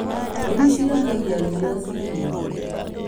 Mbũri cianagia rĩrĩa ciĩ hũũtu